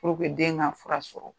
den ka fura sɔrɔ.